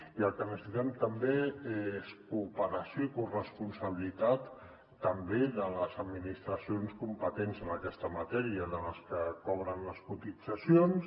i el que necessitem també és cooperació i corresponsabilitat també de les administracions competents en aquesta matèria de les que cobren les cotitzacions